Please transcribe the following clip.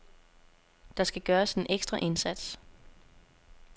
Der skal gøres en ekstra indsats.